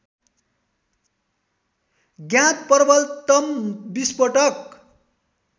ज्ञात प्रबलतम विस्फोटक